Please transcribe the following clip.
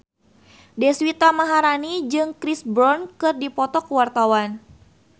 Deswita Maharani jeung Chris Brown keur dipoto ku wartawan